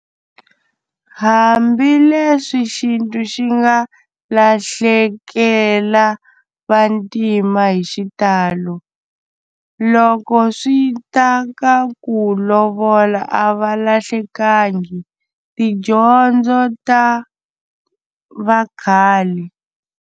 Hambileswi xintu xi nga lahlekela vantima hi xitalo loko swi ta ka ku lovola a va lahlekangi tidyondzo ta vakhale.